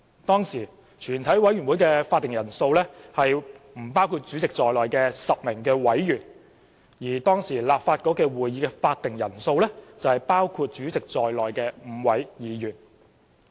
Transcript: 當時，全委會的會議法定人數為不包括主席在內的10位委員，而當時的立法局會議法定人數為包括主席在內的5位議員。